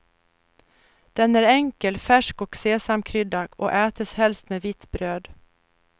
Den är enkel, färsk och sesamkryddad och ätes helst med vitt bröd.